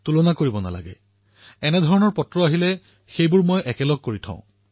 মই পত্ৰ পঢ়ো এনেকুৱা চিন্তা আৰু অন্য পত্ৰতো পৰিলক্ষিত হলে তাক একেলগতে বান্ধি লও